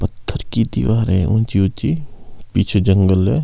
पत्थर की दीवार है ऊंची-ऊंची पीछे जंगल है।